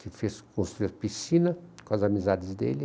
que fez, construiu a piscina com as amizades dele.